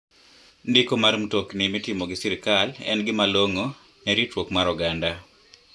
Ndiko mar mtokni mitimo gi sirkal en gima long'o ne ritruok mar oganda.